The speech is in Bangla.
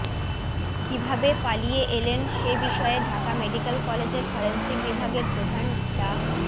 কীভাবে পালিয়ে এলেন সে বিষয়ে ঢাকা মেডিক্যাল কলেজের ফরেনসিক বিভাগের প্রধান ডা